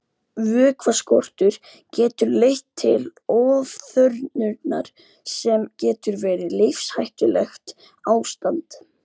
Vökvaskortur getur leitt til ofþornunar sem getur verið lífshættulegt ástand.